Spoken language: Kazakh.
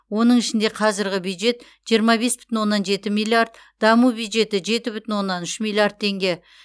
оның ішінде қазірғі бюджет жиырма бес бүтін оннан жеті миллиард даму бюджеті жеті бүтін оннан үш миллиард теңге